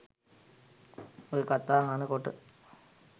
ඔය කතා අහන කොට